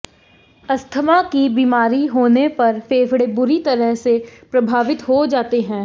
asthma की बीमारी होने पर फेफड़े बुरी तरह से प्रभावित हो जाते हैं